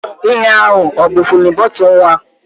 Ihea ọ bụ fidin bọtụlu nwa?